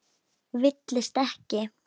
Villist ekki!